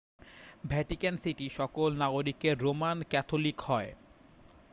Vatican City সকল নাগরিকের Roman Catholic হয়